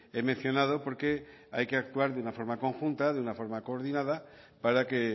he mencionado porque hay que actuar de una forma conjunta de una forma coordinada para que